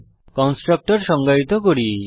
constructor সংজ্ঞায়িত করি